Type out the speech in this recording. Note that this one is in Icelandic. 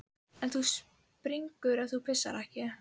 En þú springur ef þú pissar ekki.